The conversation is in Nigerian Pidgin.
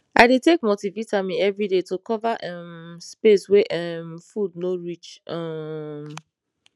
i dey take multivitamin every day to cover um space wey um food no reach um